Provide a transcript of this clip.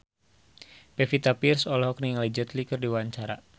Pevita Pearce olohok ningali Jet Li keur diwawancara